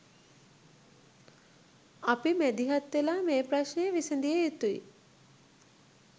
අපි මැදිහත්වෙලා මේ ප්‍රශ්නය විසඳිය යුතුයි